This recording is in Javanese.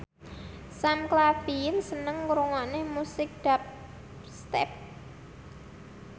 Sam Claflin seneng ngrungokne musik dubstep